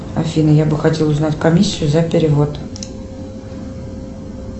афина я бы хотела узнать комиссию за перевод